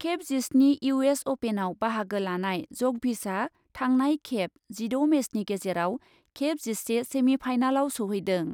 खेब जिस्नि इउ एस अपेनआव बाहागो लानाय जकभिचआ थांनाय खेब जिद' मेचनि गेजेराव खेब जिसे सेमिफाइनालाव सौहैदों।